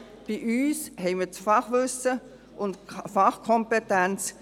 Bei uns haben wir das Fachwissen und die Fachkompetenz.